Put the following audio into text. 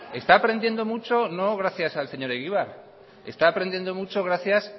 está aprendiendo mucho no gracias al señor egibar está aprendiendo mucho gracias